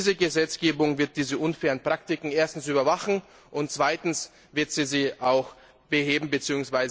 Diese Gesetzgebung wird diese unfairen Praktiken erstens überwachen und zweitens wird sie sie auch beheben bzw.